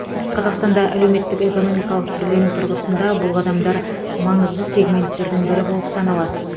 қазақстанда әлеуметтік экономикалық түрлену тұрғысында бұл қадамдар маңызды сегменттердің бірі болып саналады